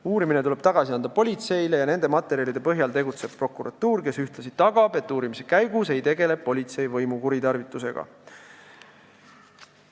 Uurimine tuleb tagasi anda politseile ja nende materjalide põhjal peab tegutsema prokuratuur, kes ühtlasi tagab, et uurimise käigus ei tegele politsei võimu kuritarvitusega.